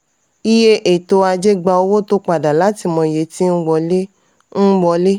iye ètò ajé gba owó tó padà láti mọ iye tí ń wọlé. ń wọlé.